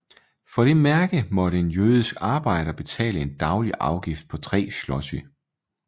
For det mærke måtte en jødisk arbejder betale en daglig afgift på tre zloty